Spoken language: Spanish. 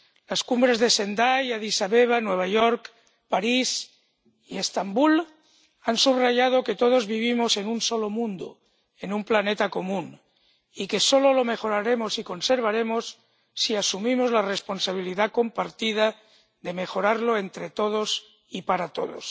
Las cumbres de Sendai, Adís Abeba, Nueva York, París y Estambul han subrayado que todos vivimos en un solo mundo, en un planeta común, y que solo lo mejoraremos y conservaremos si asumimos la responsabilidad compartida de mejorarlo entre todos y para todos.